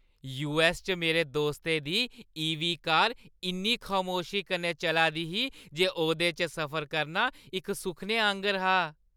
US च मेरे दोस्तै दी ईवी कार इन्नी खमोशी कन्नै चला दी ही जे ओह्दे च सफर करना इक सुखने आंह्गर हा।